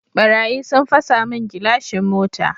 Ɓarayi sun fasa mun gilashin mota